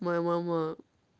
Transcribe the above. моя мама